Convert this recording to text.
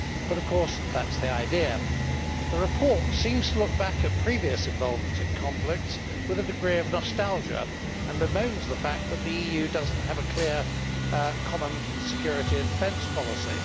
But of course that is the idea. The report seems to look back at previous involvement in conflicts with a degree of nostalgia and bemoans the fact that the EU does not have a clear common security and defence policy.